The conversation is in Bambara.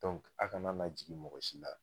a kana na jigin mɔgɔ si la